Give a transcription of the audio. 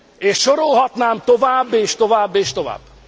És sorolhatnám tovább és tovább és tovább.